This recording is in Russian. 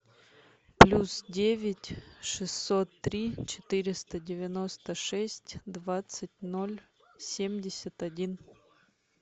плюс девять шестьсот три четыреста девяносто шесть двадцать ноль семьдесят один